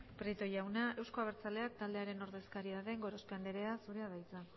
prieto jauna euzko abertzaleak taldearen ordezkaria den gorospe andrea zurea da hitza